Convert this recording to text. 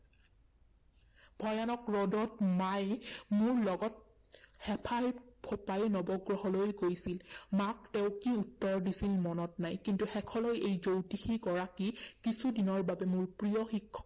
ভয়ানক ৰদত মায়ে মোৰ লগত হেফাই ফোঁপাই নৱগ্ৰহলৈ গৈছিল। মাক তেওঁ কি উত্তৰ দিছিল মনত নাই। কিন্তু শেষলৈ এই জ্যোতিষী গৰাকী কিছুদিনৰ বাবে মোৰ প্ৰিয় শিক্ষকৰ